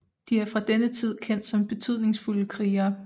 De er fra denne tid kendt som betydningsfulde krigere